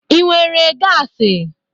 Ị nwere gasi?